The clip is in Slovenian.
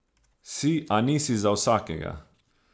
Si, a nisi za vsakega.